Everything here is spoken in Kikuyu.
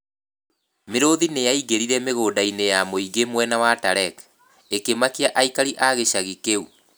Mĩrũthi nĩ yaingĩrire mĩgũnda-inĩ ya mũingĩ mwena wa Talek, ĩkĩmakia aikari a gĩcagi kĩu.